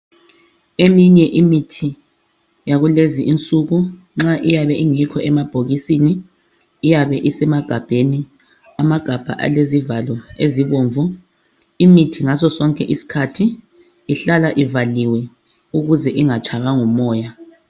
Eminye imithi yakulezi insuku nxa ingekho emabhokisini iyabe isemagabheni alezivalo ezibomvu. Imithi ngasosonke isikhathi mele ihlale ivaliwe ukuze ingatshaywa ngumoya.